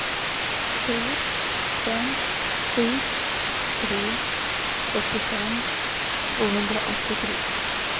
tre fem sju tre fyrtiofem tvåhundraåttiotre